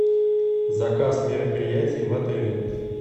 заказ мероприятий в отеле